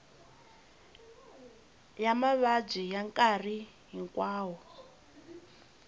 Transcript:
ya mavabyi ya nkarhi hinkwawo